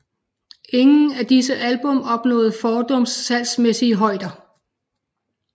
Ingen af disse album opnåede fordums salgsmæssige højder